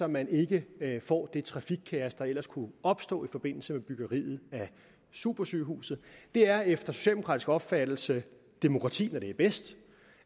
man ikke får det trafikkaos der ellers kunne opstå i forbindelse med byggeriet af supersygehuset det er efter socialdemokratisk opfattelse demokrati når det er bedst